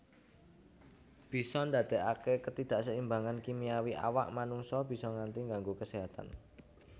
Bisa ndadekaké ketidakseimbangan kimiawi awak manungsa bisa nganti ngganggu keséhatan